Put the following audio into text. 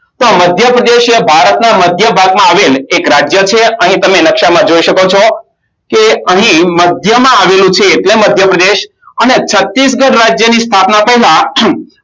તો મધ્યપ્રદેશ એ ભારતના મધ્યભાગમાં આવેલ એક રાજ્ય છે અને તને નકશામાં જોય શકો છો કે અહીં મધ્યમાં આવેલું છે એટલે મધ્યપ્રદેશ અને છત્તીસગઢ રાજ્યોની સ્થાપના થાય